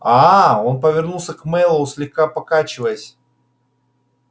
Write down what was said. аа он повернулся к мэллоу слегка покачиваясь